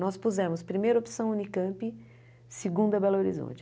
Nós pusemos primeira opção Unicamp, segunda Belo Horizonte.